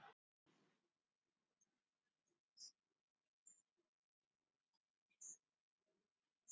Hún með aðra hönd á hurðarhúninum, hann tvístígandi fyrir framan hana.